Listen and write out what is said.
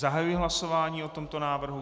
Zahajuji hlasování o tomto návrhu.